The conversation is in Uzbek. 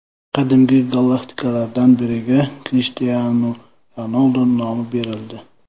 Qadimgi galaktikalardan biriga Krishtianu Ronaldu nomi berildi.